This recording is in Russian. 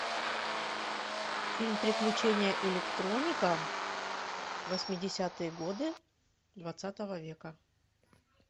фильм приключения электроника восьмидесятые годы двадцатого века